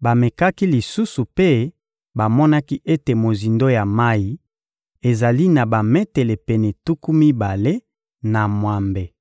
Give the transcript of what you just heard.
bamekaki lisusu mpe bamonaki ete mozindo ya mayi ezali na bametele pene tuku mibale na mwambe.